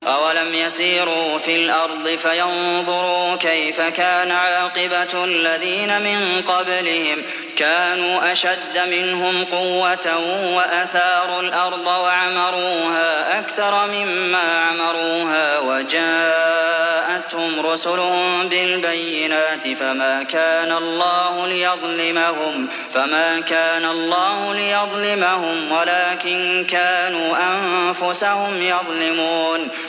أَوَلَمْ يَسِيرُوا فِي الْأَرْضِ فَيَنظُرُوا كَيْفَ كَانَ عَاقِبَةُ الَّذِينَ مِن قَبْلِهِمْ ۚ كَانُوا أَشَدَّ مِنْهُمْ قُوَّةً وَأَثَارُوا الْأَرْضَ وَعَمَرُوهَا أَكْثَرَ مِمَّا عَمَرُوهَا وَجَاءَتْهُمْ رُسُلُهُم بِالْبَيِّنَاتِ ۖ فَمَا كَانَ اللَّهُ لِيَظْلِمَهُمْ وَلَٰكِن كَانُوا أَنفُسَهُمْ يَظْلِمُونَ